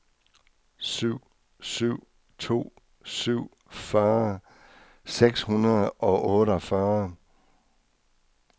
syv syv to syv fyrre seks hundrede og otteogfyrre